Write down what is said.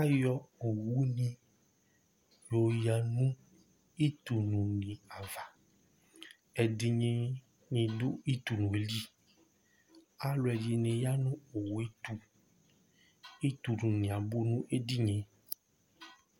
ayɔ owu ni yɔ oya no itu lu ni ava ɛdini ni do itu owu yɛ li alò ɛdini ya no owu yɛ to itu lu ni abò n'ɛdini yɛ